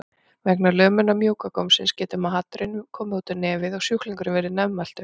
Vegna lömunar mjúka gómsins getur maturinn komið út um nefið og sjúklingurinn verður nefmæltur.